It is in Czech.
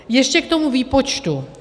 Ještě k tomu výpočtu.